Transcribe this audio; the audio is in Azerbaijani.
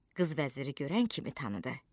Qız vəziri görən kimi tanıdı.